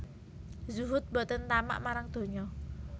Zuhud boten tamak marang donyo